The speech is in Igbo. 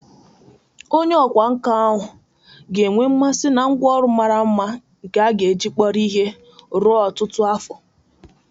Onye ọkwá nkà ahụ ga enwe mmasị na ngwá ụlọ mara mma nke a ga-eji kpọrọ ihe ruo ọtụtụ afọ.